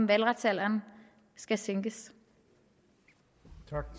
valgretsalderen skal sænkes